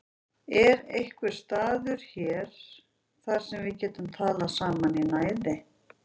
Er einhver staður hér þar sem við getum talað saman í næði?